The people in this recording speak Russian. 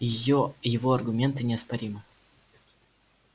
его аргументы неоспоримы